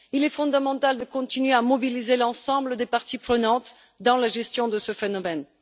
Il est fondamental de continuer à mobiliser l'ensemble des parties prenantes dans la gestion de ce phénomène.